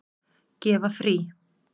Gefa frí.